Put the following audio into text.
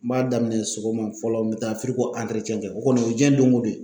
N b'a daminɛ sɔgɔma fɔlɔ n bɛ taa kɛ o kɔni o ye diɲɛ doŋo don ye.